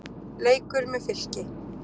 Leikur með Fylki.